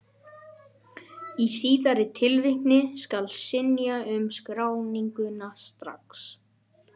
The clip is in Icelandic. Í síðari tilvikinu skal synja um skráningu strax.